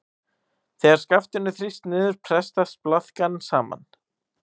Þegar skaftinu er þrýst niður pressast blaðkan saman.